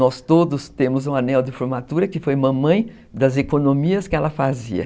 Nós todos temos um anel de formatura, que foi mamãe das economias que ela fazia.